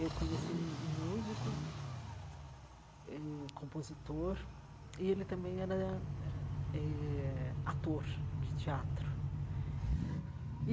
Eu conheci um um músico, eh compositor, e ele também era eh eh ator de teatro.